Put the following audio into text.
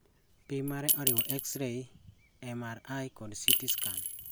Pim mare oriwo X rays, MRI kod CT scan